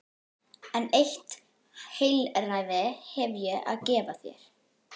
En eitt heilræði hef ég að gefa þér.